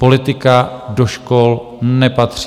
Politika do škol nepatří.